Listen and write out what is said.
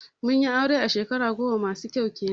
mun yi aure shekara goma masu kyau kenan